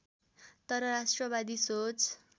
तर राष्ट्रवादी सोच